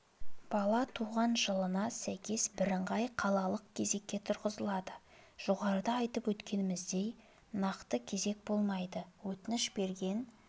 бала туған жылына сәйкес бірыңғай қалалық кезекке тұрғызылады жоғарыда айтып өткеніміздей нақты кезек болмайды өтініш берген